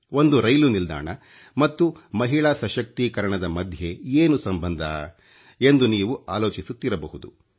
ಒಂದು ರೈಲು ನಿಲ್ದಾಣ ಮತ್ತು ಮಹಿಳಾ ಸಶಕ್ತೀಕರಣದ ಮಧ್ಯೆ ಏನು ಸಂಬಂಧ ಎಂದು ನೀವು ಆಲೋಚಿಸುತ್ತಿರಬಹುದು